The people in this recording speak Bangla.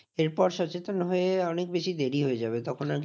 এরপর সচেতন হয়ে অনেক বেশি দেরি হয়ে যাবে। তখন আর কিছু